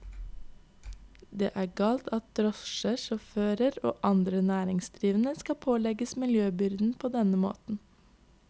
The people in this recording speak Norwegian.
Det er galt at drosjesjåfører og andre næringsdrivende skal pålegges miljøbyrden på denne måten.